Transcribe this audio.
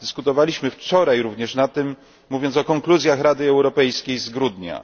Dyskutowaliśmy wczoraj również o tym mówiąc o konkluzjach Rady Europejskiej z grudnia.